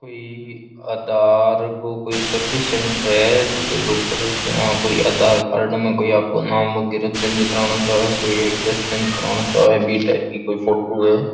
कोई आधार को कोई सर्विस सैंटर है जीके के ऊपर इया कोई आधार कार्ड मै कोई आपगो नाम वगैरा चेंज करानो चाहवे कोई एड्रेस चेंज करानो चाहवे बी टाइप की कोई फोटो है।